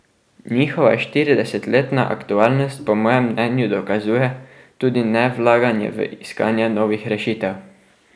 Njihova štiridesetletna aktualnost po mojem mnenju dokazuje tudi nevlaganje v iskanje novih rešitev.